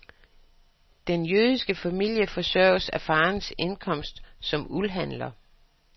Den jødiske familie forsørges af farens indkomst som uldhandler.